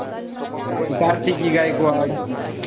ती कार्तिकी गायकवाड.